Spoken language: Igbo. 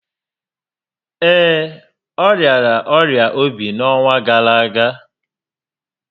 Ee, ọ rịara ọrịa óbì n'ọnwa gárá ágá